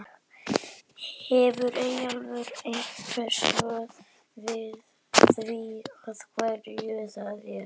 Hefur Eyjólfur einhver svör við því af hverju það er?